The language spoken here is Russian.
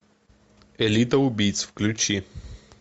элита убийц включи